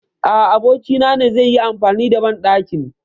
A a, abokin na ne zai yi amfani da banɗakin.